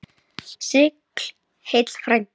Sigl heill frændi.